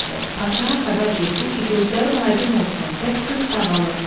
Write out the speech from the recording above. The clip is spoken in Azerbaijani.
Padşaha xəbər getdi ki, gözlərin aydın olsun, bəs qız sağalıb.